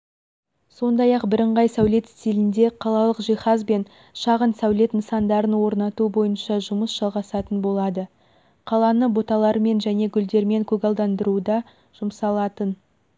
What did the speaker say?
сондай-ақ бірыңғай сәулет стилінде қалалық жиһаз бен шағын сәулет нысандарын орнату бойынша жұмыс жалғасатын болады қаланы бұталармен және гүлдермен көгалдандыруға жұмсалатын